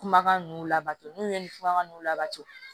Kumakan ninnu labɔ n'u ye nin kumakan ninnu labɔ